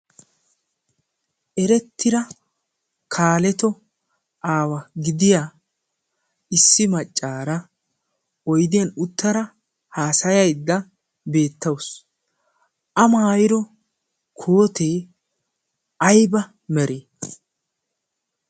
Erettida kaaleto aawa gidiya issi maccaara oydiyan uttada haasayaydda beettawusu. A maayido kootee aybaa meree?